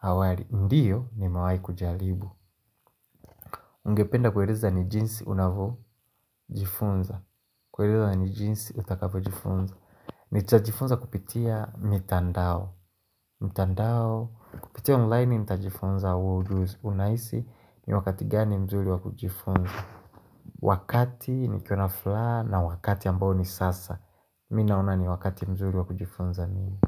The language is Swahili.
awali, ndiyo nimewai kujalibu Ungependa kueleza ni jinsi unavo jifunza kueleza ni jinsi utakapo jifunza Nita jifunza kupitia mitandao mitandao kupitia online nit jifunza huo ujuzi Unahisi ni wakati gani mzuri wa kujifunza Wakati nikiwa na fulaha na wakati ambao ni sasa Mi naona ni wakati mzuri wa kujifunza mimi.